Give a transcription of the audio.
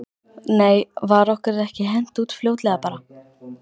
Nei var okkur ekki hent út fljótlega bara?